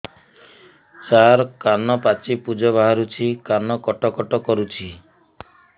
ସାର କାନ ପାଚି ପୂଜ ବାହାରୁଛି କାନ କଟ କଟ କରୁଛି